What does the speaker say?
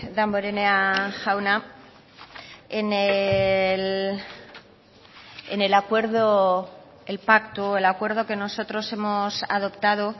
damborenea jauna en el acuerdo el pacto el acuerdo que nosotros hemos adoptado